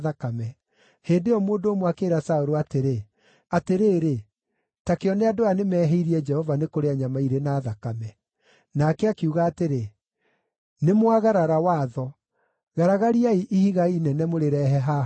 Hĩndĩ ĩyo mũndũ ũmwe akĩĩra Saũlũ atĩrĩ, “Atĩrĩrĩ, ta kĩone andũ aya nĩmehĩirie Jehova nĩ kũrĩa nyama irĩ na thakame.” Nake akiuga atĩrĩ, “Nĩmwagarara watho. Garagariai ihiga inene mũrĩrehe haha o rĩu.”